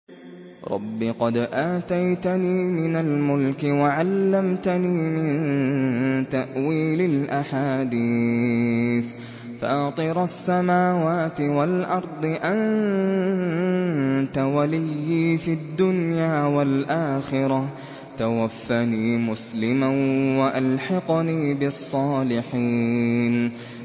۞ رَبِّ قَدْ آتَيْتَنِي مِنَ الْمُلْكِ وَعَلَّمْتَنِي مِن تَأْوِيلِ الْأَحَادِيثِ ۚ فَاطِرَ السَّمَاوَاتِ وَالْأَرْضِ أَنتَ وَلِيِّي فِي الدُّنْيَا وَالْآخِرَةِ ۖ تَوَفَّنِي مُسْلِمًا وَأَلْحِقْنِي بِالصَّالِحِينَ